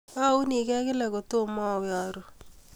Aunigei kila kotomo awo aru